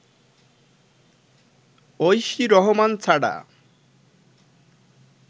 ঐশী রহমান ছাড়া